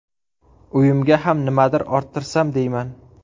Uyimga ham nimadir orttirsam deyman.